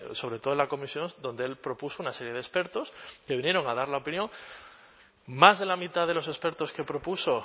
sobre todo en la comisión donde el propuso una serie de expertos que vinieron a dar la opinión más de la mitad de los expertos que propuso